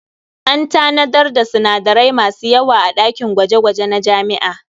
An tanadar da sinadarai masu yawa a ɗakin gwaje-gwaje na jami'a.